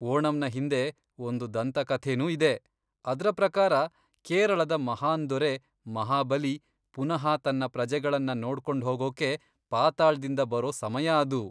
ಓಣಂನ ಹಿಂದೆ ಒಂದು ದಂತಕಥೆನೂ ಇದೆ, ಅದ್ರ ಪ್ರಕಾರ, ಕೇರಳದ ಮಹಾನ್ ದೊರೆ ಮಹಾಬಲಿ ಪುನಃ ತನ್ನ ಪ್ರಜೆಗಳನ್ನ ನೋಡ್ಕೊಂಡ್ಹೋಗೋಕೆ ಪಾತಾಳ್ದಿಂದ ಬರೋ ಸಮಯ ಅದು.